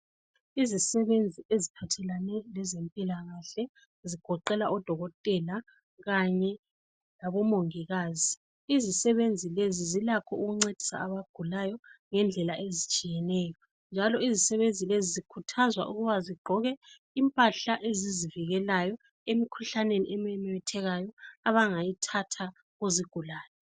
Izisebenzi eziphathelane lempilakahle ezigoqela odokotela kanye labomongikazi. Izisebenzi lezi zilakho ukuncedisa abagulayo ngendlela ezitshiyeneyo njalo izisebenzi lezi zikhuthazwa ukuba zigqoke impahla ezizivikelayo emkhuhlaneni ememethekayo abangayithatha kuzigulani.